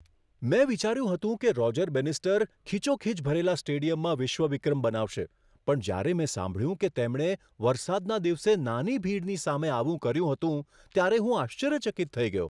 મેં વિચાર્યું હતું કે રોજર બેનિસ્ટર ખીચોખીચ ભરેલા સ્ટેડિયમમાં વિશ્વ વિક્રમ બનાવશે, પણ જ્યારે મેં સાંભળ્યું કે તેમણે વરસાદના દિવસે નાની ભીડની સામે આવું કર્યું હતું ત્યારે હું આશ્ચર્યચકિત થઈ ગયો.